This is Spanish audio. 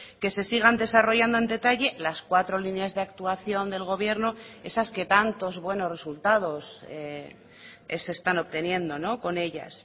que se sigan desarrollando en detalle las cuatro líneas de actuación del gobierno esas que tantos buenos resultados se están obteniendo con ellas